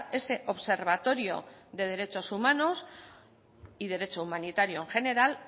ese observatorio de derechos humanos y derecho humanitario en general